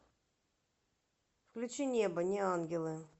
включи небо неангелы